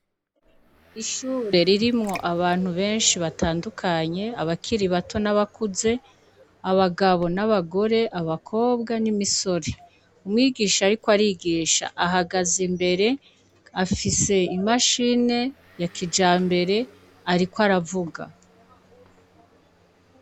Ishyure ririmwo abantu benshi batandukanye :abakiri bato ,n'abakuze abagabo n'abagore ,abakobwa n'imisore umwigisha ariko arigisha ahagaze imbere ,afise imashini ya kijambere arikw'aravuga.